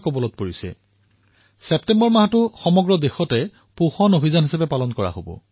সমগ্ৰ দেশতে ছেপ্টেম্বৰ মাহটো পোষণ অভিযান হিচাপে পালন কৰা হব